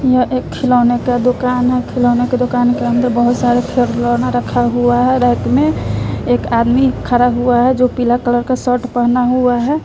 यह एक खिलौने के दुकान हैं खिलौने के दुकान के अंदर बहुत सारे खिलौना रखा हुआ है रैक में एक आदमी खड़ा हुआ है जो पीला कलर का शर्ट पहना हुआ है।